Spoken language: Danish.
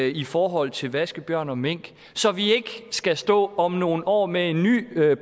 i forhold til vaskebjørn og mink så vi ikke skal stå om nogle år med en ny